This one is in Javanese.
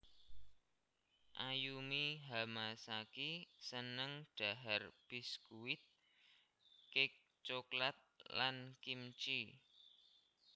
Ayumi Hamasaki seneng dhahar biskuit cake coklat lan kimchee